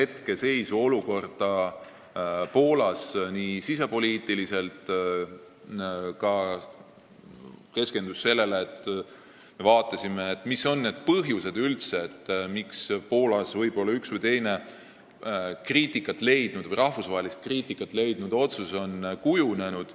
Keskendusime sisepoliitikale ja vaatasime, mis on üldse need põhjused, miks on Poolas üks või teine rahvusvahelist kriitikat leidnud otsus kujunenud.